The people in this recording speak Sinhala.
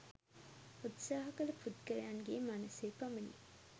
උත්සාහ කළ පුද්ගලයන්ගේ මනසේ පමණි